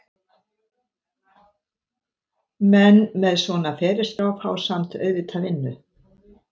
Menn með svona ferilskrá fá samt auðvitað vinnu.